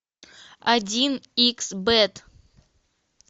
один икс бет